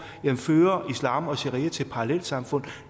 fører islam og sharia til parallelsamfund